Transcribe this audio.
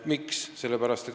Miks?